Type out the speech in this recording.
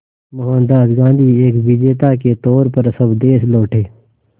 मोहनदास गांधी एक विजेता के तौर पर स्वदेश लौटे